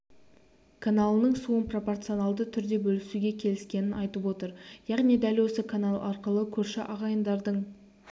каналының суын пропорционалды түрде бөлісуге келіскенін айтып отыр яғни дәл осы канал арқылы көрші ағайындардың